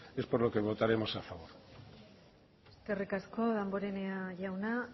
es por lo que votaremos a favor eskerrik asko damborenea jauna